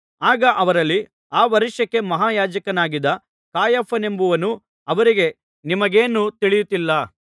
ಆಗ ಅವರಲ್ಲಿ ಆ ವರ್ಷಕ್ಕೆ ಮಹಾಯಾಜಕನಾಗಿದ್ದ ಕಾಯಫನೆಂಬುವನು ಅವರಿಗೆ ನಿಮಗೇನೂ ತಿಳಿಯುತ್ತಿಲ್ಲ